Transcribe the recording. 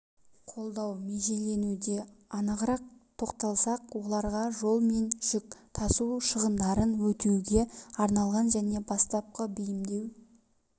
қолдау межеленуде анығырақ тоқталсақ оларға жол мен жүк тасу шығындарын өтеуге арналған және бастапқы бейімдеу